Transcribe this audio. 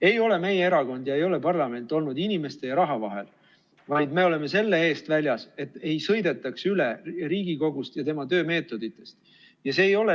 Ei ole meie erakond ja ei ole parlament olnud inimeste ja raha vahel, vaid me oleme selle eest väljas, et ei sõidetaks üle Riigikogust ja tema töömeetoditest.